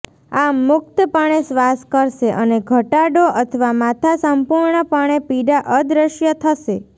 આમ મુક્તપણે શ્વાસ કરશે અને ઘટાડો અથવા માથા સંપૂર્ણપણે પીડા અદૃશ્ય થશે